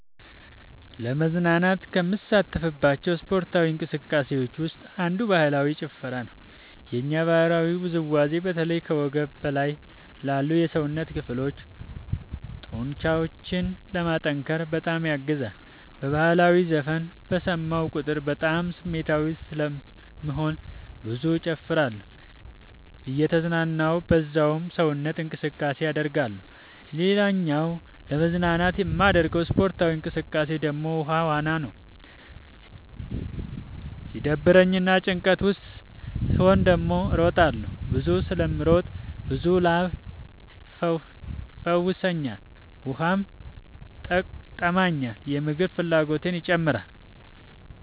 ለመዝናናት ከምሳተፍባቸው ስፓርታዊ እንቅስቃሴዎች ውስጥ አንዱ ባህላዊ ጭፈራ ነው። የኛ ባህላዊ ውዝዋዜ በተለይ ከወገብ በላይ ላሉ የሰውነት ክፍሎ ጡንቻዎችን ለማጠንከር በጣም ያግዛል። በህላዊ ዘፈን በሰማሁ ቁጥር በጣም ስሜታዊ ስለምሆን ብዙ እጨፍራለሁ እየተዝናናሁ በዛውም ሰውነት እንቅስቃሴ አደርጋለሁ። ሌላኛው ለመዝናናት የማደርገው ስፖርታዊ እንቅቃሴ ደግሞ ውሃ ዋና ነው። ሲደብረኝ እና ጭንቀት ውስጥ ስሆን ደግሞ እሮጣለሁ። ብዙ ስለምሮጥ ብዙ ላብ ይፈሰኛል ውሃም ይጠማኛል የምግብ ፍላጎቴም ይጨምራል።